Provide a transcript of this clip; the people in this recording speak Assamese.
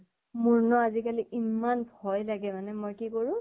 মোৰ ন আজিকালি ইমান ভয় লাগে মানে, মই কি কৰো